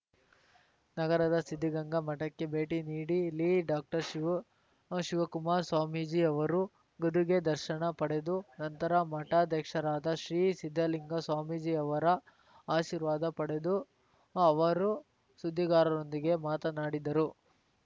ನಗರದ ಸಿದ್ದಗಂಗಾ ಮಠಕ್ಕೆ ಭೇಟಿ ನೀಡಿ ಲಿ ಡಾಕ್ಟರ್ ಶಿವಕುಮಾರ್ ಸ್ವಾಮೀಜಿಯವರ ಗದುಗೆ ದರ್ಶನ ಪಡೆದು ನಂತರ ಮಠಾಧ್ಯಕ್ಷರಾದ ಶ್ರೀ ಸಿದ್ದಲಿಂಗ ಸ್ವಾಮೀಜಿಯವರ ಆಶೀರ್ವಾದ ಪಡೆದು ಅವರು ಸುದ್ದಿಗಾರರೊಂದಿಗೆ ಮಾತನಾಡಿದರು